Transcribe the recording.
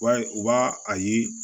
Wa u b'a a ye